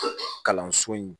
Kalanso in